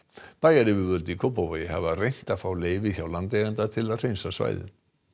bæjaryfirvöld í Kópavogi hafa reynt að fá leyfi hjá landeiganda til að hreinsa svæðið